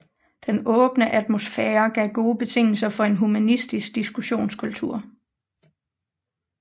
Den åbne atmosfære gav gode betingelser for en humanistisk diskussionskultur